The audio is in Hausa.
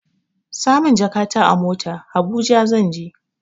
Sa min jakata a mota, Habuja zan je.